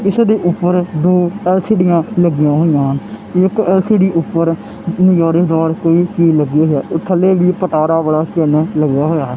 ਇਸ ਦੇ ਉੱਪਰ ਦੋ ਐਲ_ਸੀ_ਡੀਆਂ ਲੱਗੀਆਂ ਹੋਈਆਂ ਹਨ ਤੇ ਇੱਕ ਐਲ_ਸੀ_ਡੀ ਉਪਰ ਜਾਲੀਦਾਰ ਕੋਈ ਚੀਜ਼ ਲੱਗੀ ਹੈ ਔਰ ਥੱਲੇ ਲੱਗਿਆ ਹੋਇਆ ਹੈ।